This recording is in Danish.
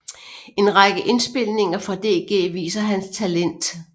En række indspilninger fra DG viser hans talent